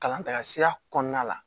Kalan taga sira kɔnɔna la